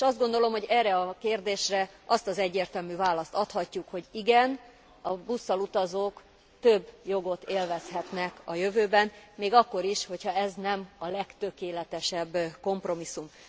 És azt gondolom, hogy erre a kérdésre azt az egyértelmű választ adhatjuk, hogy igen, a busszal utazók több jogot élvezhetnek a jövőben, még akkor is, ha ez nem a legtökéletesebb kompromisszum.